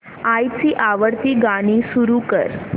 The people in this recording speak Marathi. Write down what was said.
आईची आवडती गाणी सुरू कर